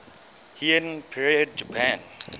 heian period japan